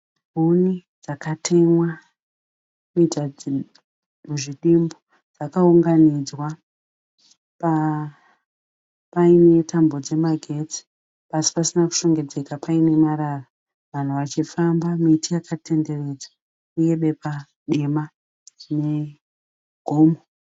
Huni dzakatemwa kuita muzvidimbu. Dzakaunganidzwa paine tambo dzemagetsi. Pasi pasina kushongedzeka paine marara. Vanhu vachifamba. Miti yakatenderedza uye bepa dema rine gomo.